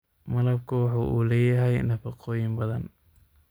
Malabku waxa uu leeyahay nafaqooyin badan.